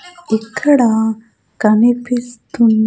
ఇక్కడ కనిపిస్తున్న --